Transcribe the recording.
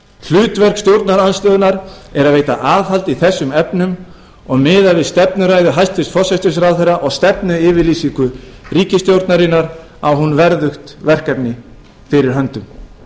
hlutverk stjórnarandstöðunnar er að veita aðhald í þessum efnum og miðað við stefnuræðu hæstvirts forsætisráðherra og stefnuyfirlýsingu ríkisstjórnarinnar á hún verðugt verkefni fyrir höndum